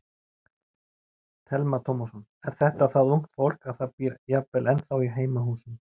Telma Tómasson: Er þetta það ungt fólk að það býr jafnvel ennþá í heimahúsum?